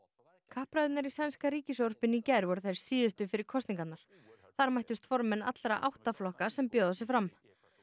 kappræðurnar í sænska ríkissjónvarpinu í gær voru þær síðustu fyrir kosningarnar þar mættust formenn allra átta flokka sem bjóða sig fram